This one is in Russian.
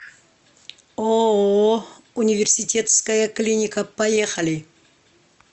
ооо университетская клиника поехали